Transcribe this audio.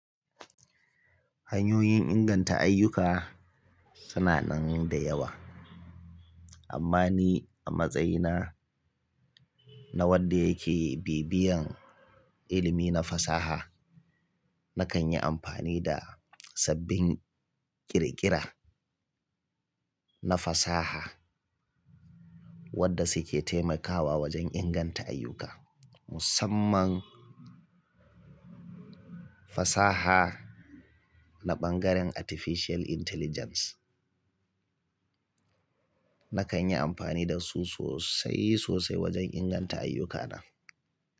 Hanyoyin inganta ayyuka suna nan da yawa. Amma ni a matsayina na wanda yake bibiyan ilimi na fasaha, nakan yi amfani da sabbin ƙirƙira na fasaha wadda su ke taimakawa wajen inganta ayyuka. Musamman fasaha na bangaren Artificial Intelligence. Nakan yi amfani da su sosai sosai wajen inganta ayyukana.